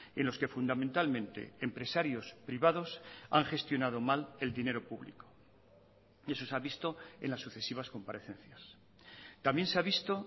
en los que fundamentalmente empresarios privados han gestionado mal el dinero público y eso se ha visto en las sucesivas comparecencias también se ha visto